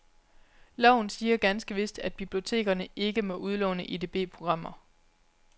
Loven siger ganske vist, at biblioteker ikke må udlåne EDB programmer.